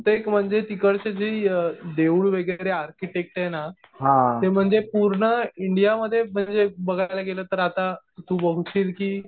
बहुतेक म्हणजे तिकडचे जी देऊळ वगैरे आर्किटेक्ट आहे ना ते म्हणजे पूर्ण इंडियामध्ये म्हणजे बघायला गेलं तर आता तु बोलशील कि